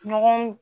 Ɲɔgɔn